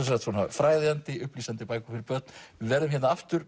fræðandi upplýsandi bækur fyrir börn við verðum aftur